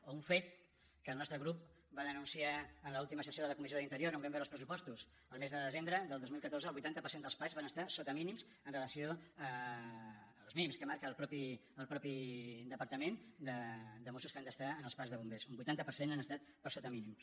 o un fet que el nostre grup va denunciar en l’última sessió de la comissió d’interior on vam veure els pressupostos el mes de desembre del dos mil catorze el vuitanta per cent dels parcs van estar sota mínims amb relació als mínims que marca el mateix departament de mossos que han d’estar en els parcs de bombers un vuitanta per cent han estat per sota mínims